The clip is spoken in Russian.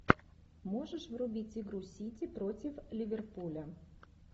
можешь врубить игру сити против ливерпуля